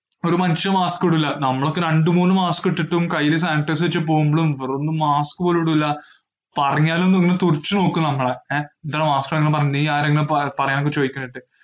ഒരു മനുഷ്യൻ mask ഇടൂല്ല. നമ്മളൊക്കെ രണ്ടുമൂന്നു mask ഇട്ടിട്ടും കയ്യില് sanitizer വെച്ചു പോകുമ്പോളും ഇവരൊന്നും mask പോലും ഇടൂല്ല. പറഞ്ഞാലും ഇങ്ങനെ തുറിച്ചുനോക്കും നമ്മളെ, ഏർ എന്റെടെ mask ഇടാൻ പറഞ്ഞ നീയാരാ ഇങ്ങനെ പ~ പറയ്യാന്ന് ചോയിക്കണ കേട്ട്.